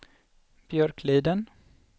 Björkliden